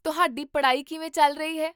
ਤੁਹਾਡੀ ਪੜ੍ਹਾਈ ਕਿਵੇਂ ਚੱਲ ਰਹੀ ਹੈ?